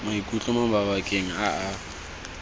maikutlo mo mabakeng a a